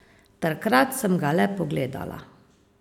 Takrat sem ga le pogledala.